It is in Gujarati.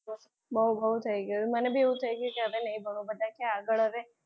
બહુ બહુ થઈ ગયું છે મને જેવું થઈ ગયું છે ને. હવે નહીં ભણવું હવે બધા કે આગળ